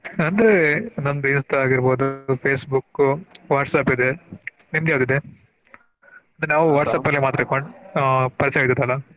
ಅಂದ್ರೆ ನಮ್ದು Insta ಆಗಿರ್ಬಹುದು Facebook, WhatsApp ಇದೆ ನಿಮ್ಗ ಯಾವ್ದು ಇದೆ? ನಾವು WhatsApp ಅಲ್ಲಿ ಮಾತ್ರ ಆಹ್ ಪರಿಚಯ ಅಗಿರೋದಲ್ಲಾ?